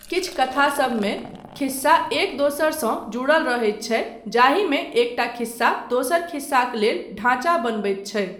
किछु कथासबमे, खिस्सा एक दोसरसँ जुड़ल रहैत छै जाहिमे एकटा खिस्सा दोसर खिस्साक लेल ढ़ाँचा बनबैत छै।